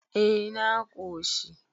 eh na koshi